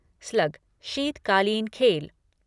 slug शीतकालीन खेल